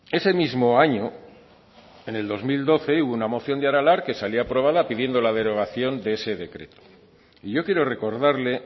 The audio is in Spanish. ese mismo año en el dos mil doce hubo una moción de aralar que salió aprobada pidiendo la derogación de ese decreto y yo quiero recordarle